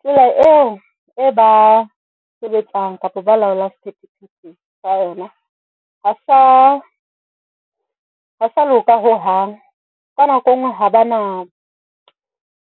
Tsela eo e ba sebetsang kapa balaolang sephethephethe ka yona ha sa loka ho hang ka nako engwe haba na